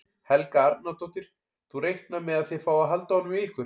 Helga Arnardóttir: Þú reiknar með að þið fáið að halda honum hjá ykkur?